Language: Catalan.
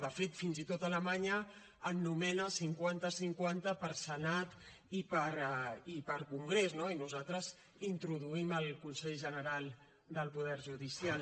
de fet fins i tot alemanya en nomena cinquanta cinquanta per senat i per congrés no i nosaltres introduïm el consell general del poder judicial